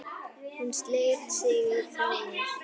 Hún sleit sig frá mér.